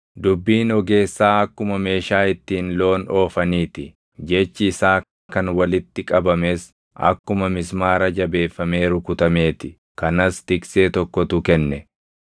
Dubbiin ogeessaa akkuma meeshaa ittiin loon oofanii ti; jechi isaa kan walitti qabames akkuma mismaara jabeeffamee rukutamee ti; kanas tiksee tokkotu kenne.